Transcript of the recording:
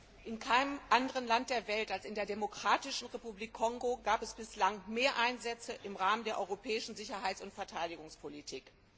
Herr Präsident! In keinem anderen Land der Welt als in der Demokratischen Republik Kongo gab es bislang mehr Einsätze im Rahmen der europäischen Sicherheits und Verteidigungspolitik.